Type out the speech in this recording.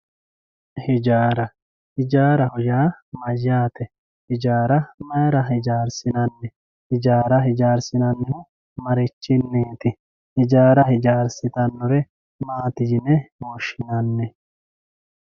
ijaara ijaaraho yaa mayaate ijaara mayiira ijaarsinanni ijaara ijaarsinannihu marichiniiti ijaara ijaarsitannore maati yine woshshinanni